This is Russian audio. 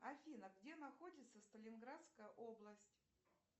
афина где находится сталинградская область